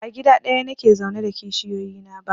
Ba a gida ɗaya nake zaune da kishiyoyi na ba